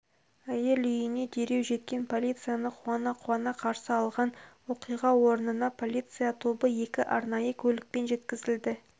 әйел үйіне дереу жеткен полицияны қуана-қуана қарсы алған оқиға орнына полиция тобы екі арнайы көлікпен жеткізілді